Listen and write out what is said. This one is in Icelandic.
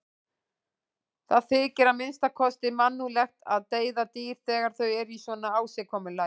Það þykir að minnsta kosti mannúðlegt að deyða dýr þegar þau eru í svona ásigkomulagi.